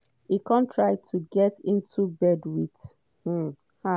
e come try to get into bed with um her.